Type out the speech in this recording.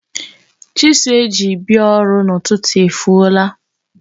Chisụl e ji bia ọrụ n'ụtụtụ efuola.